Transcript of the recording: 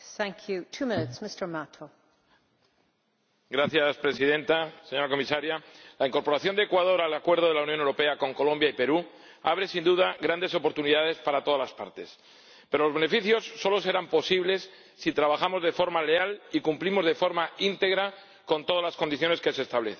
Señora Presidenta, señora Comisaria, la incorporación de Ecuador al Acuerdo de la Unión Europea con Colombia y Perú abre, sin duda, grandes oportunidades para todas las partes, pero los beneficios solo serán posibles si trabajamos de forma leal y cumplimos de forma íntegra todas las condiciones que se establecen.